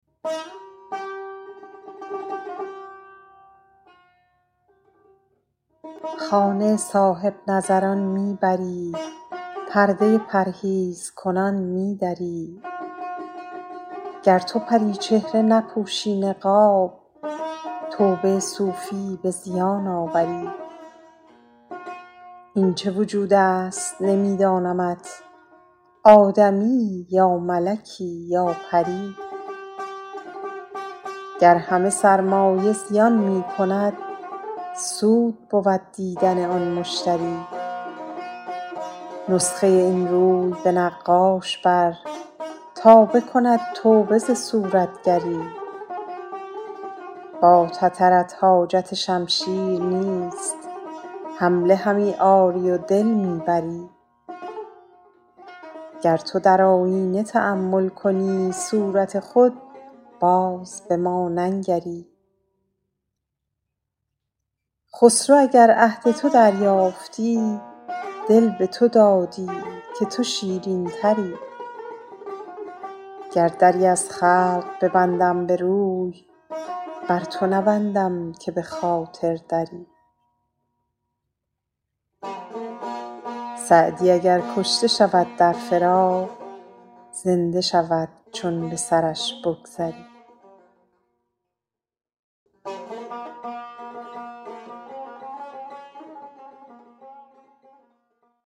خانه صاحب نظران می بری پرده پرهیزکنان می دری گر تو پری چهره نپوشی نقاب توبه صوفی به زیان آوری این چه وجود است نمی دانمت آدمیی یا ملکی یا پری گر همه سرمایه زیان می کند سود بود دیدن آن مشتری نسخه این روی به نقاش بر تا بکند توبه ز صورتگری با تترت حاجت شمشیر نیست حمله همی آری و دل می بری گر تو در آیینه تأمل کنی صورت خود باز به ما ننگری خسرو اگر عهد تو دریافتی دل به تو دادی که تو شیرین تری گر دری از خلق ببندم به روی بر تو نبندم که به خاطر دری سعدی اگر کشته شود در فراق زنده شود چون به سرش بگذری